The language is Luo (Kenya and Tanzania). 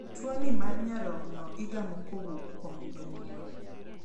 Tuo ni mar nyarogno igamo kowuok kuom jonyuol.